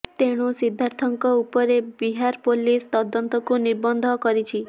ତେଣୁ ସିଦ୍ଧାର୍ଥଙ୍କ ଉପରେ ବିହାର ପୁଲିସ ତଦନ୍ତକୁ ନିବଦ୍ଧ କରିଛି